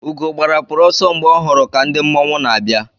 Ugo gbarapụrụ ọsọ mgbe ọ hụrụ ka ndị mmọnwụ n'abịa.